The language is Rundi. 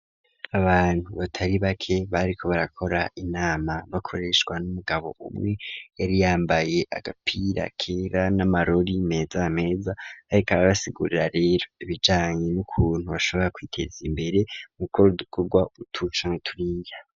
Abantu batari bake, bariko barakora inama, bakoreshwa n'umugabo umwe, yari yambaye agapira kera, n'amarori meza meza; yariko arabasigurira rero, ibijanye n'ukuntu, bashobora kwiteza imbere, mu gukora udukogwa, utu canke turiya.